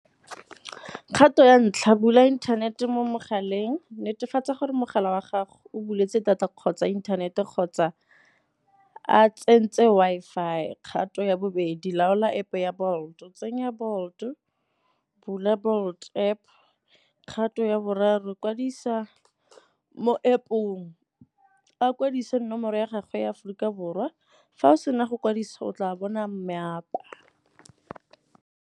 Kgato ya ntlha, bula inthanete mo mogaleng. Netefatsa gore mogala wa gago o buletse data kgotsa inthanete kgotsa a tsentse Wi-Fi. Kgato ya bobedi, laola App ya Bolt-o, tsenya Bolt-o, bula Bolt App. Kgato ya boraro, kwadisa mo App-ong a kwadisa nomoro ya gagwe ya Aforika Borwa, fa o sena go kwadiso o tla bona .